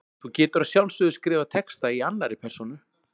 Þú getur að sjálfsögðu skrifað texta í annarri persónu.